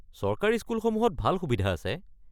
চৰকাৰী স্কুলসমূহত ভাল সুবিধা আছে।